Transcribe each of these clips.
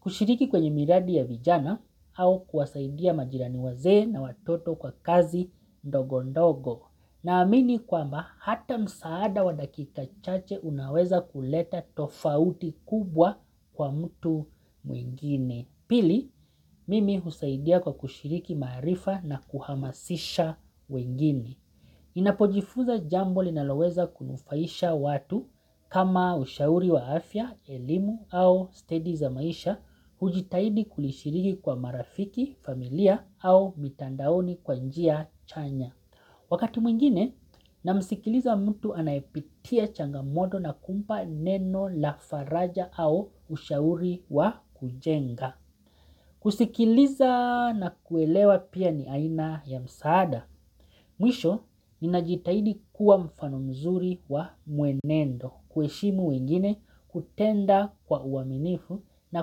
kushiriki kwenye miradi ya vijana au kwasaidia majirani wazee na watoto kwa kazi ndogo ndogo. Na amini kwamba hata msaada wadakika chache unaweza kuleta tofauti kubwa kwa mtu mwingine. Pili, mimi husaidia kwa kushiriki maarifa na kuhamasisha wengine. Ninapojifunza jambo linaloweza kunufaisha watu kama ushauri wa afya, elimu au steady za maisha hujitaidi kulishiriki kwa marafiki, familia au mitandaoni kwanjia chanya. Wakati mwingine namsikiliza mtu anayepitia changamoto na kumpa neno la faraja au ushauri wa kujenga. Kusikiliza na kuelewa pia ni aina ya msaada. Mwisho, ninajitahidi kuwa mfano mzuri wa muenendo kuheshimu wengine, kutenda kwa uaminifu na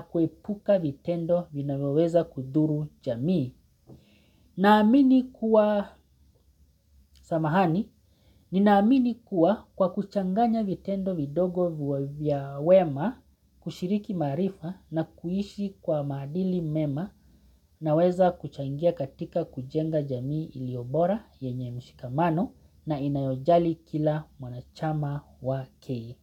kuepuka vitendo vinavyoweza kudhuru jamii. Naamini kuwa, samahani, ninaamini kuwa kwa kuchanganya vitendo vidogo vya wema kushiriki maarifa na kuishi kwa maadili mema naweza kuchangia katika kujenga jamii iliyo bora yenye mshikamano na inayojali kila mwanachama wake.